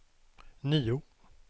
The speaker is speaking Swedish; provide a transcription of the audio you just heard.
nio